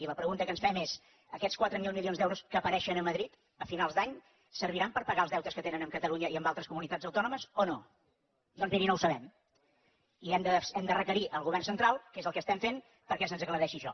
i la pregunta que ens fem és aquests quatre mil milions d’euros que apareixen a madrid a finals d’any serviran per pagar els deutes que tenen amb catalunya i amb altres comunitats autònomes o no doncs miri no ho sabem i hem de requerir al govern central que és el que estem fent que se’ns aclareixi això